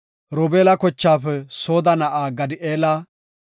Zabloona kochaafe Sooda na7aa Gadi7eela;